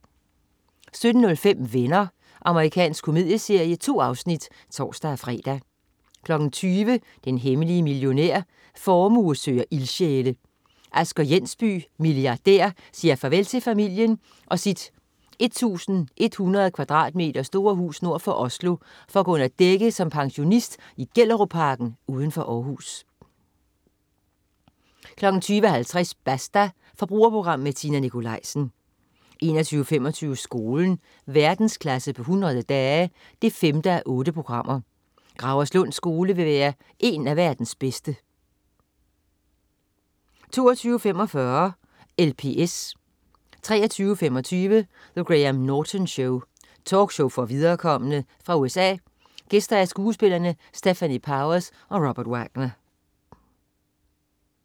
17.05 Venner. Amerikansk komedieserie. 2 afsnit (tors-fre) 20.00 Den hemmelige millionær. Formue søger ildsjæle. Asger Jensby, milliardær siger farvel til familien og sit 1100 kvadratmeter store hus nord for Oslo for at gå under dække som pensionist i Gellerupparken uden for Århus 20.50 Basta. Forbrugerprogram med Tina Nikolaisen 21.25 Skolen. Verdensklasse på 100 dage 5:8. Gauerslund Skole vil være en af verdens bedste 22.45 LPS 23.25 The Graham Norton Show. Talkshow for viderekomne. Fra USA. Gæster: Skuespillerne Stefanie Powers og Robert Wagner